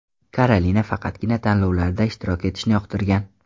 Karolina faqatgina tanlovlarda ishtirok etishni yoqtirgan.